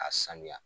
A sanuya